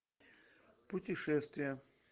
путешествия